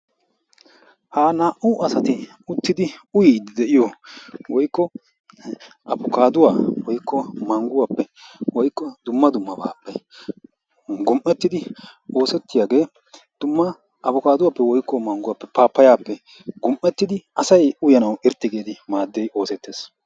Ha naa"u asati uttidi uyidi de'iyo woyklo abkaduwappe woyklo mangguwappe woykko dumma dummappe gum"ettidi kiyidaba oosetiyaage dumma abkaduwappe woykko mangguwappe pappayiyappe gum"ettidi asay uyanaw irxxi giidi maaddi oosettees.